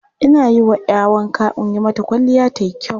Ina yi wa 'ya wanka in yi mata kwalliya ta yi kyau.